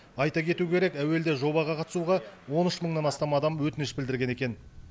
айта кету керек әуелде жобаға қатысуға он үш мыңнан астам адам өтініш білдірген екен